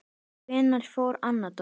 Hvenær fór Anna Dóra?